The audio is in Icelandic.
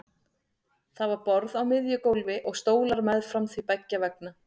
Það var borð á miðju gólfi og stólar meðfram því beggja vegna.